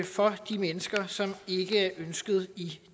for de mennesker som ikke er ønskede i